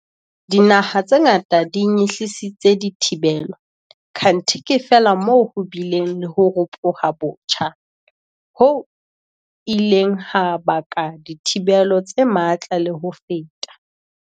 Dinaha tse ngata di nyehlisitse dithibelo, kanthe ke feela moo ho bileng le ho ropoha botjha, ho ileng ha baka dithibelo tse matla le ho feta.